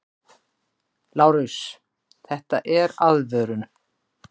LÁRUS: Þetta er aðvörun!